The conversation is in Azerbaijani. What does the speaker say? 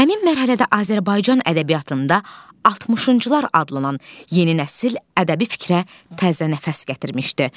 Həmin mərhələdə Azərbaycan ədəbiyyatında 60-cılar adlanan yeni nəsil ədəbi fikrə təzə nəfəs gətirmişdi.